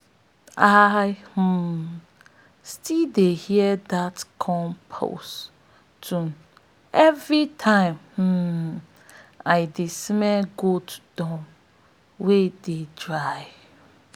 i um still dey hear dat compost tune every time um i dey smell goat dung wey dey dry